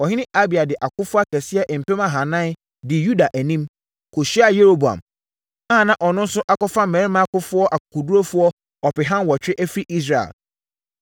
Ɔhene Abia de akofoɔ akɛseɛ mpem ahanan dii Yuda anim, kɔhyiaa Yeroboam a ɔno nso akɔfa mmarima akofoɔ akokoɔdurufoɔ ɔpeha nwɔtwe afiri Israel.